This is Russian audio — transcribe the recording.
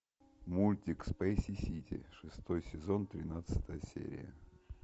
мультик спейси сити шестой сезон тринадцатая серия